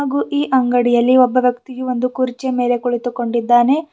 ಹಾಗೂ ಈ ಅಂಗಡಿಯಲ್ಲಿ ಒಬ್ಬ ವ್ಯಕ್ತಿ ಒಂದು ಕುರ್ಚಿ ಮೇಲೆ ಕುಳಿತುಕೊಂಡಿದ್ದಾನೆ.